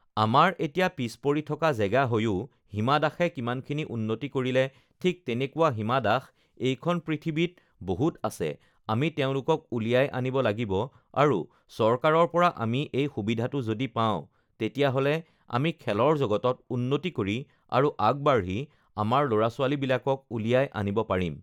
আমাৰ এতিয়া পিচপৰি থকা জেগা হৈও হীমা দাসে কিমানখিনি উন্নতি কৰিলে ঠিক তেনেকুৱা হীমা দাস এইখন পৃথিৱীত বহুত আছে আমি তেওঁলোকক উলিয়াই আনিব লাগিব আৰু চৰকাৰৰ পৰা আমি এই সুবিধাটো যদি পাওঁ তেতিয়াহ'লে আমি খেলৰ জগতত উন্নতি কৰি আৰু আগবাঢ়ি আমাৰ ল'ৰা-ছোৱালীবিলাকক উলিয়াই আনিব পাৰিম